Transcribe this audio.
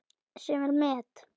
Sem er met.